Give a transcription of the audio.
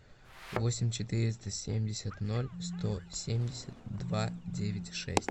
восемь четыреста семьдесят ноль сто семьдесят два девять шесть